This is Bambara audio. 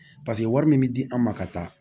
Paseke wari min bɛ di an ma ka taa